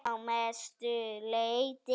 Að mestu leyti